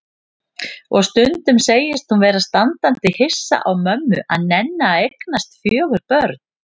Og stundum segist hún vera standandi hissa á mömmu að nenna að eignast fjögur börn.